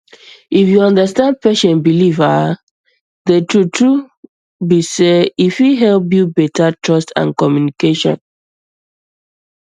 if you understand patient belief ah the truth truth be sey e fit help build better trust and communication